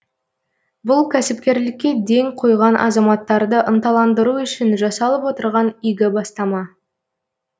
бұл кәсіпкерлікке ден қойған азаматтарды ынталандыру үшін жасалып отырған игі бастама